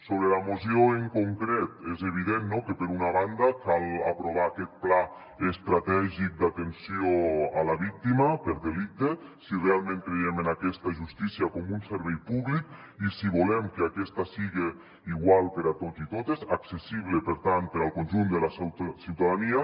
sobre la moció en concret és evident que per una banda cal aprovar aquest pla estratègic d’atenció a la víctima per delicte si realment creiem en aquesta justícia com un servei públic i si volem que aquesta siga igual per a tots i totes accessible per tant per al conjunt de la ciutadania